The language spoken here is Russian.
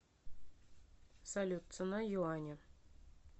салют цена юаня